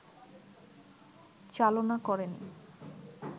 চালনা করেনি